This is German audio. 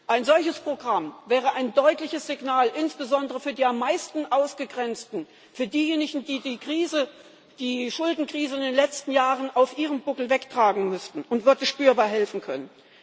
Ein solches Programm wäre ein deutliches Signal, insbesondere für die am meisten Ausgegrenzten, für diejenigen, die die Krise, die Schuldenkrise in den letzten Jahren auf ihrem Buckel wegtragen mussten, und würde spürbar helfen können.